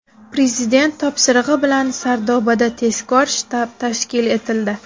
Prezident topshirig‘i bilan Sardobada tezkor shtab tashkil etildi.